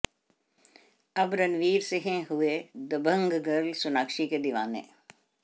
अब रणवीर सिंह हुए दबंग गर्ल सोनाक्षी के दीवाने